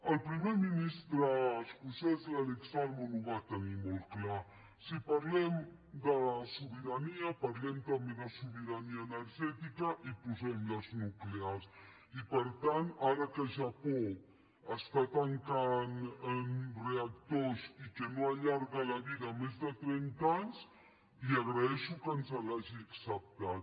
el primer ministre escocès l’alex salmond ho va tenir molt clar si parlem de sobirania parlem també de sobirania energètica i posem les nuclears i per tant ara que japó està tancant reactors i que no allarga la vida més de trenta anys li agraeixo que ens l’hagi acceptat